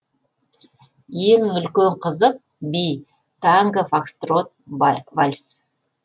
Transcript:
ең үлкен қызық би танго фокстрот вальс